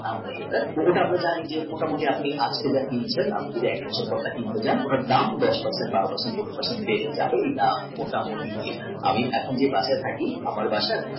পুজোতে আমরা জানি আমাকে আপনি মোটামুটি আপনি এক বছর পরে কেনেন তাহলে ওটার দাম দশ per cent বারো per cent পনেরো per cent এটা মোটামুটি fixed আমি এখন যে বাসাতে থাকি আমার বাসা